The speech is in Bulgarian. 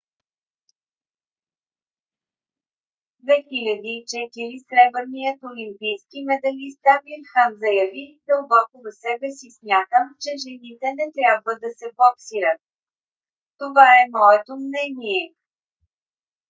2004 сребърният олимпийски медалист амир хан заяви: дълбоко в себе си смятам че жените не трябва да се боксират. това е моето мнение.